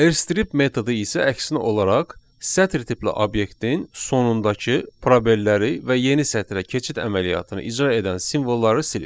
R strip metodu isə əksinə olaraq sətir tipli obyektin sonundakı probelləri və yeni sətrə keçid əməliyyatını icra edən simvolları silir.